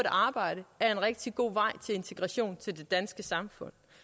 arbejde er en rigtig god vej til integration i det danske samfund